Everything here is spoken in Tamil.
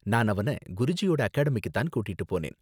நான் அவன குருஜியோட அகாடமிக்கு தான் கூட்டிட்டு போனேன்.